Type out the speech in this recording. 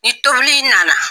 Ni tobili ɲɛna.